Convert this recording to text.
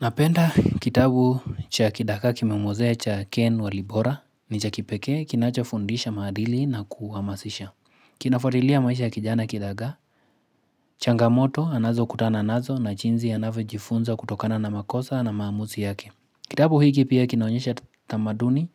Napenda kitabu cha kidagaa kimemwozea cha ken walibora ni cha kipeke kinachofundisha maadili na kuhamasisha Kinafuatilia maisha ya kijana kidagaa changamoto anazo kutana nazo na jinsi anavyojifunza kutokana na makosa na maamuzi yake Kitabu hiki pia kinaonyesha tamaduni